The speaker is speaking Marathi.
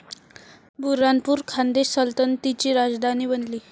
बुऱ्हाणपूर खान्देश सल्तनतीची राजधानी बनली.